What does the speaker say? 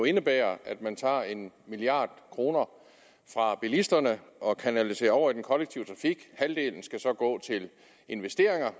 indebærer at man tager en milliard kroner fra bilisterne og kanaliserer over i den kollektive trafik halvdelen skal gå til investeringer